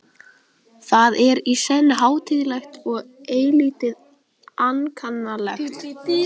Það er í senn hátíðlegt og eilítið ankannalegt.